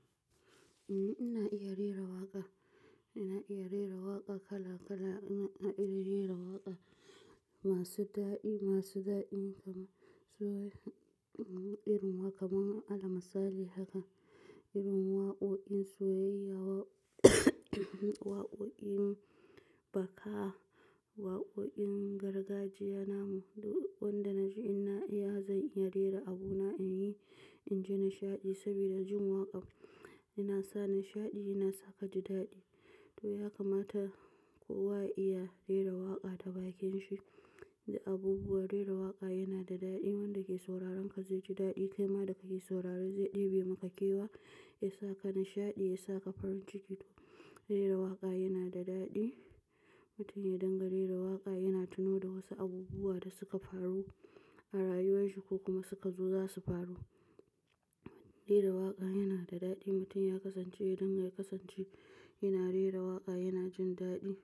Ina iya rera waƙa, ina iya rera waƙa kala kala. Ina iya rera waƙa masu daɗi, masu daɗi kamar soyayya, irin waƙa kamar almasahali haka, irin waƙoƙin soyayya waƙoƙin baka, waƙoƙin gargajiya namu. Duk wanda na ji ina iya, zan iya rera abuna in yi, in ji nishaɗi saboda jin waƙa yana sa nishaɗi, yana sa ka ji daɗi. To, ya kamata kowa ya iya rera waƙa ta bakin shi. Da abubuwan rera waƙa yana da daɗi, wanda ke sauraron ka zai ji daɗi. Kaima da ka yi sauraro zai ɗebi maka kewa, ya sa ka nishaɗi, ya sa ka farin ciki. Rera waƙa yana da daɗi. Mutum ya dangana rera waƙa yana tuno da wasu abubuwa da suka faru a rayuwar shi ko kuma suka zo za su faru. Rera waƙa yana da daɗi. Mutum ya kasance idan ya kasance yana rera waƙa yana jin daɗi.